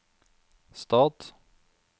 stat